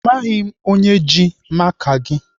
Amaghị m onye ji maka gị.